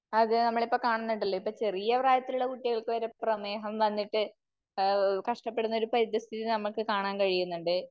അത് നമ്മള് ഇപ്പോ കാണുന്നണ്ടല്ലോ. ഇപ്പോ ചെറിയ പ്രായത്തിലുള്ള കുട്ടികൾക്ക് വരെ പ്രമേഹം വന്നിട്ട് കഷ്ടപ്പെടുന്ന ഒരു പരിതസ്ഥിതി നമുക്ക് കാണാൻ കഴിയുന്നുണ്ട്.